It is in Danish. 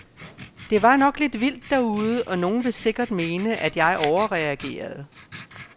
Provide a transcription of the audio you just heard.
Det var nok lidt vildt derude, og nogle vil sikkert mene, at jeg overreagerede.